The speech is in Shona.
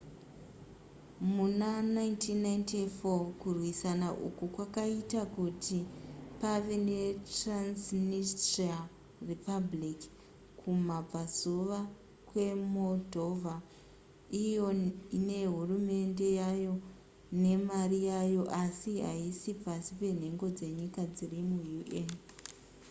muna 1994 kurwisana uku kwakaita kuti pave netransnistria republic kumabvazuva kwemoldova iyo ine hurumende yayo nemari yayo asi haisi pasi penhengo dzenyika dziri muun